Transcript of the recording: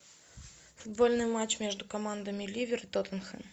футбольный матч между командами ливер и тоттенхэм